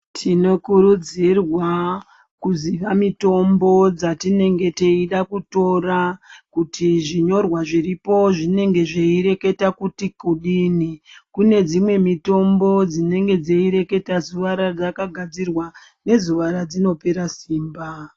Tinokurudzirwa kuziya mitombo dzatinenge teida kutora kuti zvinyorwa zviripo zvinenge zveireketa kuti kudini, kune dzimwe mitombo dzinenge dzeireketa zuva radzakagadzirwa nezuva radzinopera simba.